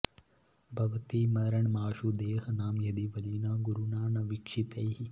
भवति मरणमाशु देहनां यदि बलिना गुरुणा न वीक्षितैः